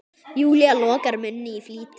Júlía lokar munni í flýti.